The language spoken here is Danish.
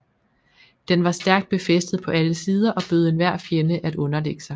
Den var stærkt befæstet på alle sider og bød enhver fjende at underlægge sig